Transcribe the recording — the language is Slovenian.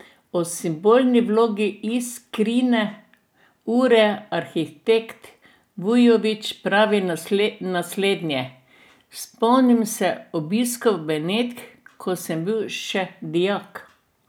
O simbolni vlogi Iskrine ure arhitekt Vujović pravi naslednje: "Spomnim se obiskov Benetk, ko sem bil še dijak.